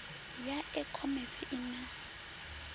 ya e khomese i na